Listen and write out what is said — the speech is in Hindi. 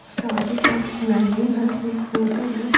शादी का वेन्यू है एक होटल है।